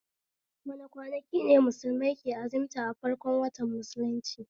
Wane kwanaki ne musulmai ke azimta a farkon watan musulunci?